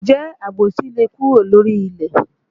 Ǹjẹ́ àbòsí le kúrò lórílẹ̀?